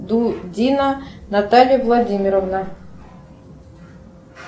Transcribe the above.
дудина наталья владимировна